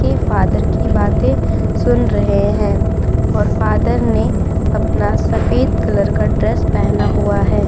के फादर की बातें सुन रहे हैं और फादर ने अपना सफेद कलर का ड्रेस पहना हुआ है।